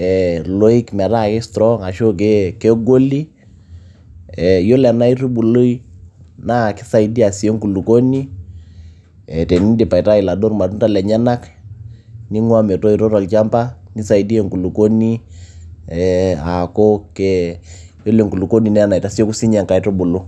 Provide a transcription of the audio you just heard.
iloik metaa ki strong ashu kegoli, yiolo ena aitubului naa kisaidia sii enkulukuoni tenindip aitai iladuo irmatunda lenyenak ning'ua metoito tolchamba nisaidia enkulukuoni ee aaku yiolo enkulukuoni naa enaitasieku siininye inkaitubulu.